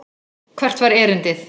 Hvert var erindið?